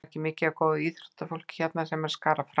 Það er mikið af góðu íþróttafólki hérna sem er að skara fram úr.